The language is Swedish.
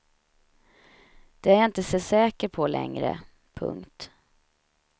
Det är jag inte så säker på längre. punkt